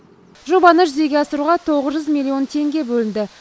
жобаны жүзеге асыруға тоғыз жүз миллион теңге бөлінді